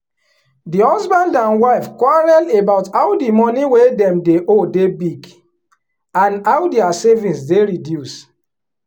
di husband and wife quarrel about how the money wey dem dey owe dey big and how dia savings dey reduce.